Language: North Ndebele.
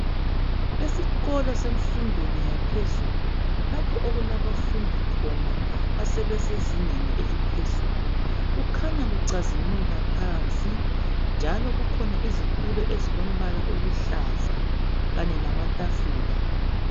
Esikolo semfundweni yaphezulu,,lapho okulabafundi khona, asebesezingeni eliphezulu. Kukhanya kucazimula phansi njalo kukhona izitulo ezilombala oluhlaza, kanye lamatafula.